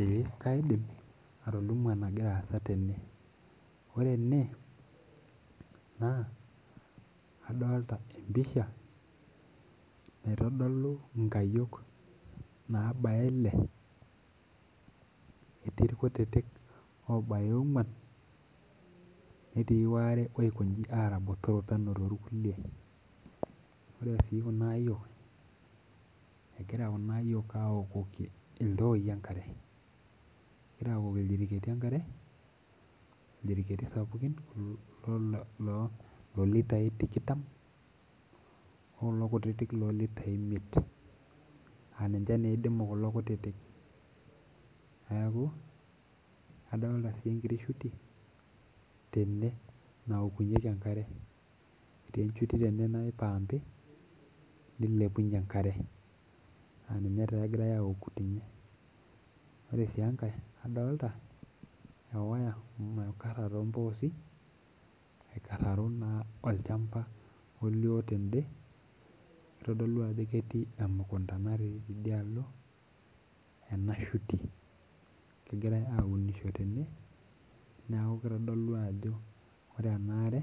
Eeh kaidim atolimu enagira aasa tene ore ene naa adolta empisha naitodolu inkayiok naabaya ile etii irkutitik obaya ong'uan netii waare oikonji aara botorok peno torkulie ore sii kuna ayiok egira kuna ayiok awokoki iltooi enkare egira awokoki ildiriketi enkare ildiriketi sapukin kulo loo lolitai tikitam okulo kutitik lolitai imiet aninche neidimu kulo kutitik neeku adolta sii enkiti shuti tene naokunyieki enkare etii enchuti tene naipampi nilepunyie enkare aninye taa egirae aoku tene ore sii enkae adolta ewaya amu naikarra tomposi aikarraro naa olchamba olio tende kitodolu ajo ketii emukunta natii tidialo ena shuti kegirae aunisho tene niaku kitodolu ajo ore ena are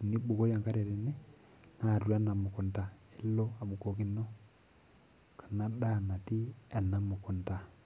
enibukori enkare tene naa atua ena mukunta elo abukokino ena daa natii ena mukunta.